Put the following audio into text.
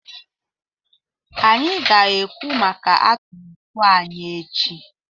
Anyị ga-ekwu maka atụmatụ anyị echi